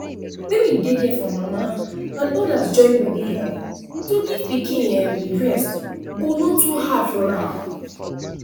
when we dey there for mama and others join body help to give pikin um breast go no too hard for her